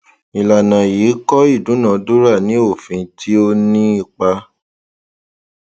ìlànà yìí kọ ìdúnadúrà ní òfin tí ó ní ipa